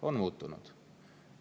On muutunud!